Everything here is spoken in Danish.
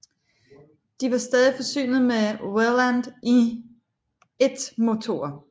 De var stadig forsynet med Welland I motorer